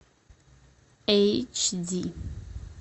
эйч ди